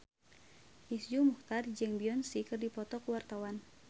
Iszur Muchtar jeung Beyonce keur dipoto ku wartawan